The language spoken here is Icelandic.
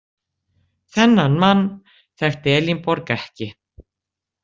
Þennan mann þekkti Elínborg ekki.